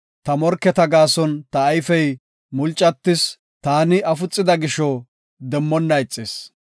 Ta morketa gaason ta ayfey mulcatis; taani afuxida gisho demmonna ixis.